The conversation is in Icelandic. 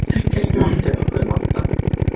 Ekkert mátti okkur vanta.